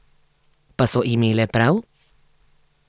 Pa so imele prav?